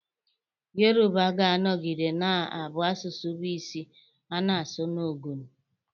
Yoruba ga-anọgide na-abụ asụsụ bụ isi a na-asụ na Ogun